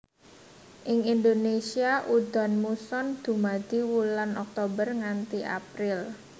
Ing Indonesia udan muson dumadi wulan Oktober nganti April